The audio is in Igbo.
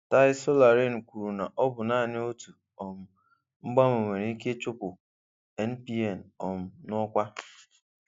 Tai Solarin kwuru na ọ bụ naanị otu um mgbanwe nwere ike ịchụpụ NPN um n'ọkwa.